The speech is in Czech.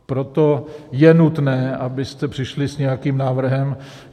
Proto je nutné, abyste přišli s nějakým návrhem.